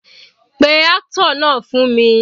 Pé actor náà fún mi.